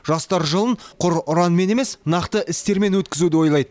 жастар жылын құр ұранмен емес нақты істермен өткізуді ойлайды